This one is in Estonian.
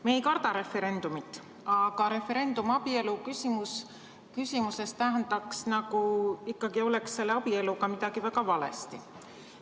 Me ei karda referendumit, aga referendum abielu küsimuses tähendaks seda, nagu oleks abieluga midagi väga valesti.